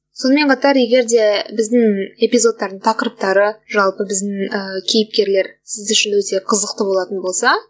сонымен қатар егер де біздің эпизодтардың тақырыптары жалпы біздің ііі кейіпкерлер сіз үшін өте қызықты болатын болса